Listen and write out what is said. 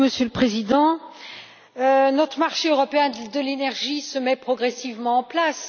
Monsieur le Président, notre marché européen de l'énergie se met progressivement en place.